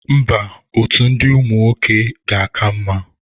Mba, otu ndị nwoke ga-aka mma.